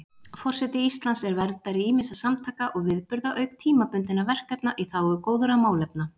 Forseti Íslands er verndari ýmissa samtaka og viðburða auk tímabundinna verkefna í þágu góðra málefna.